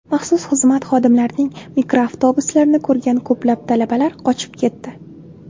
Maxsus xizmat xodimlarining mikroavtobuslarini ko‘rgan ko‘plab talabalar qochib ketdi.